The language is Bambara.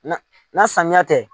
Na na samiya tɛ